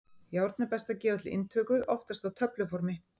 Járn er best að gefa til inntöku, oftast á töfluformi.